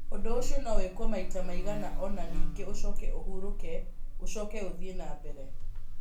Ũndũ ũcio no wĩkwo maita maigana ũna ningĩ ũcoke ũhurũke, ũcoke ũthiĩ na mbere.